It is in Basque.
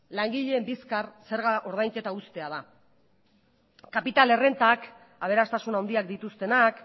langileen bizkar zerga ordainketa uztea da kapital errentak aberastasun handiak dituztenak